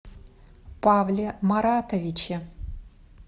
павле маратовиче